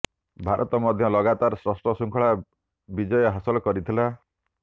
ଭାରତ ମଧ୍ୟ ଲଗାତାର ଷଷ୍ଠ ଶୃଙ୍ଖଳା ବିଜୟ ହାସଲ କରିଥିଲା